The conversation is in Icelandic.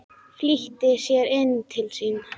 Flýtti sér inn til sín.